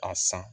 A san